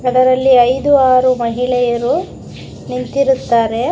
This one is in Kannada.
ಅದರಲ್ಲಿ ಐದು ಆರು ಮಹಿಳೆಯರು ನಿಂತಿರುತ್ತಾರೆ.